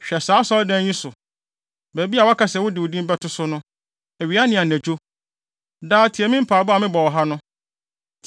Hwɛ saa Asɔredan yi so, baabi a woaka sɛ wode wo din bɛto so no, awia ne anadwo. Daa, tie me mpae a mebɔ wɔ ha no.